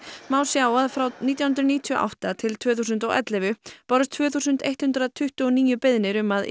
má sjá að frá nítján hundruð níutíu og átta til tvö þúsund og ellefu bárust tvö þúsund hundrað tuttugu og níu beiðnir um að